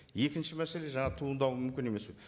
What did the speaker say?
екінші мәселе жаңа туындауы мүмкін емес пе